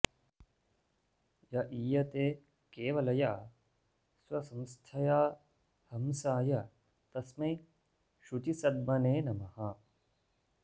य ईयते केवलया स्वसंस्थया हंसाय तस्मै शुचिसद्मने नमः